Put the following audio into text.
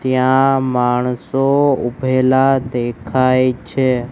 ત્યાં માણસો ઊભેલા દેખાય છે.